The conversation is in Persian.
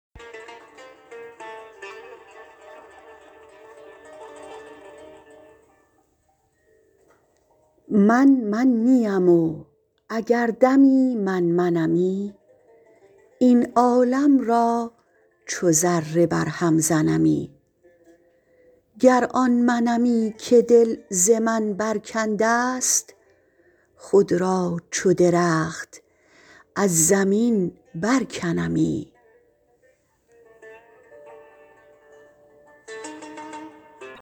من من نیم و اگر دمی من منمی این عالم را چو ذره بر هم زنمی گر آن منمی که دل ز من برکنده است خود را چو درخت از زمین برکنمی